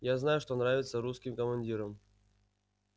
я знаю что нравится русским командирам